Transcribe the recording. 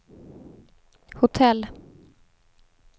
hotell